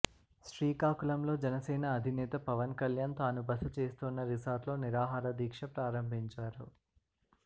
శ్రీకాకుళంలో జనసేన అధినేత పవన్ కల్యాణ్ తాను బస చేస్తోన్న రిసార్ట్లో నిరాహార దీక్ష ప్రారంభించారు